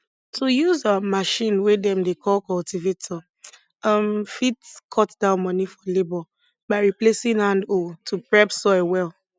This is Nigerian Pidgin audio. to use um machine wey dem dey call cultivator um fit cut down money for labour by replacing hand hoe to prep soil well